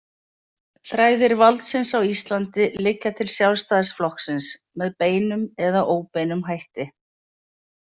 Þræðir valdsins á Íslandi liggja til Sjálfstæðisflokksins, með beinum eða óbeinum hætti.